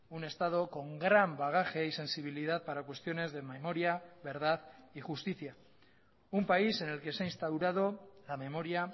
un estado con gran bagaje y sensibilidad para cuestiones de memoria verdad y justicia un país en el que se ha instaurado la memoria